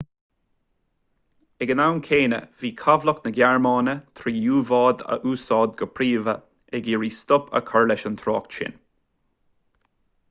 ag an am céanna bhí cabhlach na gearmáine trí u-bháid a úsáid go príomha ag iarraidh stop a chur leis an trácht sin